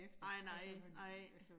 Nej nej nej